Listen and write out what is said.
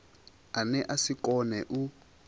ane a si kone u